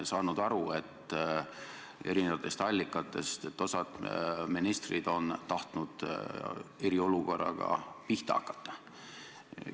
Me oleme erinevatest allikatest teada saanud, et osa ministreid on tahtnud eriolukorraga pihta hakata.